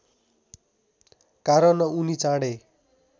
कारण उनी चाँडै